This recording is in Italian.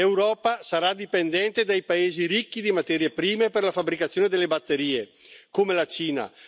L'Europa sarà dipendente dai paesi ricchi di materie prime per la fabbricazione delle batterie, come la Cina.